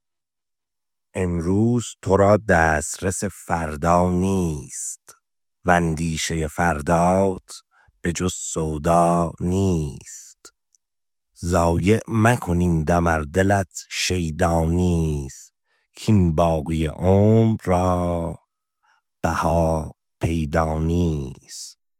امروز تو را دسترس فردا نیست واندیشه فردات به جز سودا نیست ضایع مکن این دم ار دلت شیدا نیست کاین باقی عمر را بها پیدا نیست